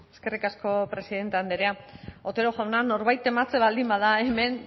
eskerrik asko presidenta andrea otero jauna norbait tematzen baldin bada hemen